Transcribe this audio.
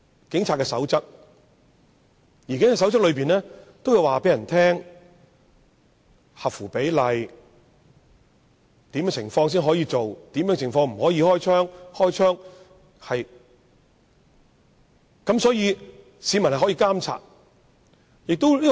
警察守則會說明何謂合乎比例的武力、在甚麼情況下可以開槍、甚麼情況不可開槍等，好讓市民作出監察。